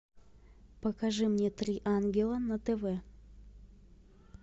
покажи мне три ангела на тв